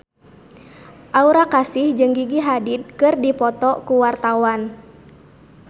Aura Kasih jeung Gigi Hadid keur dipoto ku wartawan